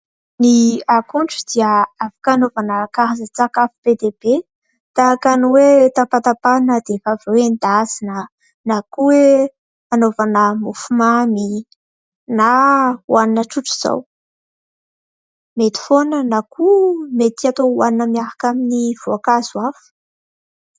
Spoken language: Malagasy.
Ny akondro dia afaka anaovana karazan-tsakafo be dia be tahaka ny hoe tapatapahana dia rehefa avy eo endasina na koa anaovana mofomamy na hohanina tsotra izao ; mety foana na koa mety atao hohanina miaraka amin'ny voankazo hafa.